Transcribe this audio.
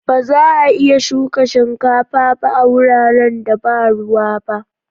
Ba za'a iya shuka shinkafa ba a wuraren da ba ruwa ba.